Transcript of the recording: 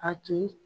A tun